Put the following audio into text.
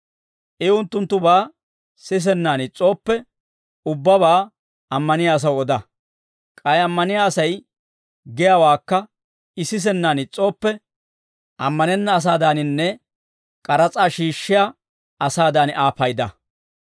I unttunttubaa sisennaan is's'ooppe, ubbabaa ammaniyaa asaw oda; K'ay ammaniyaa Asay giyaawaakka I sisennaan is's'ooppe, ammanenna asaadaaninne k'aras'aa shiishshiyaa asaadan Aa payda.